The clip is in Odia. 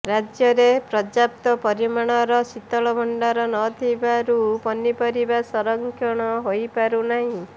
ରାଜ୍ୟରେ ପର୍ଯ୍ୟାପ୍ତ ପରିମାଣର ଶୀତଳ ଭଣ୍ଡାର ନ ଥିବାରୁ ପନିପରିବା ସଂରକ୍ଷଣ ହୋଇପାରୁନାହିଁ